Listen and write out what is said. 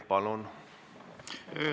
Palun!